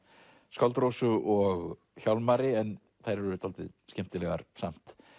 skáld Rósu og Hjálmari en þær eru dálítið skemmtilegar samt